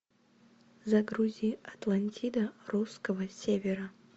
загрузи атлантида русского севера